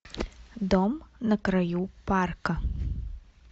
дом на краю парка